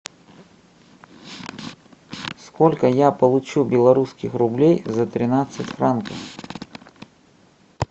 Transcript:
сколько я получу белорусских рублей за тринадцать франков